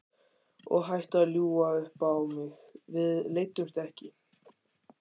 Og hættu að ljúga upp á mig, við leiddumst ekki!